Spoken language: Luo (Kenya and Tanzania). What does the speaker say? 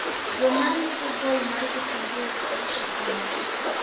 joma rito gol mar Kitungu fc otamo gi.